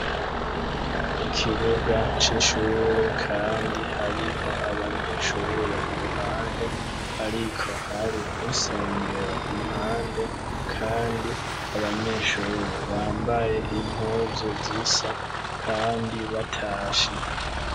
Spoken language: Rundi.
Ikibuga c'ishure kandi hariho abanyeshure iruhande, ariko hari n'isengero impande kandi abanyeshure bambaye impunzu zisa kandi batashe.